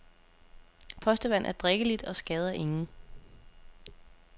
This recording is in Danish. Postevand er drikkeligt og skader ingen.